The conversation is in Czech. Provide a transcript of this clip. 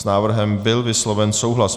S návrhem byl vysloven souhlas.